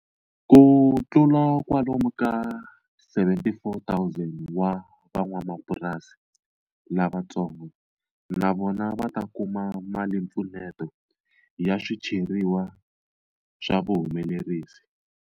Kutlula kwalomu ka 74,000 wa van'wamapurasi lavatsongo na vona va ta kuma malimpfuneto ya swicheriwa swa vuhumelerisi.